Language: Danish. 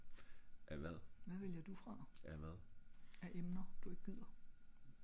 hvad vælger du fra?